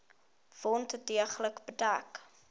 wond deeglik bedek